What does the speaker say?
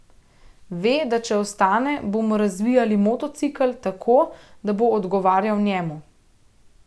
Ve, da če ostane, bomo razvijali motocikel, tako, da bo odgovarjal njemu.